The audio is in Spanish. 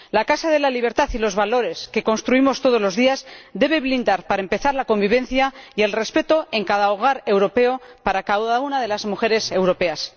La casa de la libertad y los valores que construimos todos los días deben blindar, para empezar, la convivencia y el respeto en cada hogar europeo para cada una de las mujeres europeas.